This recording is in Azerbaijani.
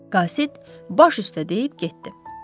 Qasid baş üstə deyib getdi.